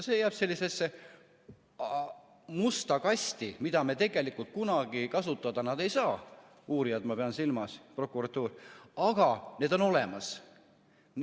See jääb sellisesse musta kasti, mida tegelikult kunagi kasutada nad ei saa, ma pean silmas uurijaid ja prokuratuuri, aga need on olemas.